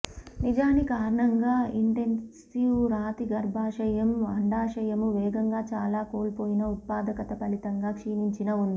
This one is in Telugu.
నిజానికి కారణంగా ఇంటెన్సివ్ రాతి గర్భాశయం అండాశయము వేగంగా చాలా కోల్పోయిన ఉత్పాదకత ఫలితంగా క్షీణించిన ఉంది